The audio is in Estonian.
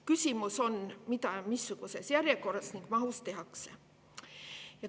Küsimus on, mida ja missuguses järjekorras ning mahus tehakse.